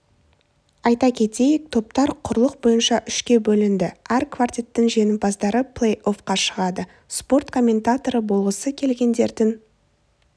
айта кетейік топтар құрлық бойынша үшке бөлінді әр квартеттің жеңімпаздары плэй-оффқа шығады спорт комментаторы болғысы келгендердің